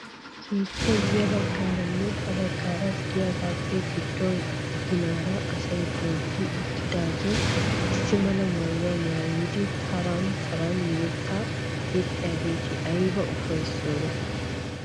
Keettay ya baggaaranne ha baggaara de'iyaagappe giddo ginaara asay dooddi uttidagee issi mala maayuwaa maayidi taran taran yettaa yexxiyaageti ayba ufayssiyoona!